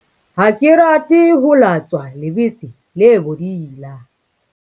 ha ke rate ho latswa lebese le bodila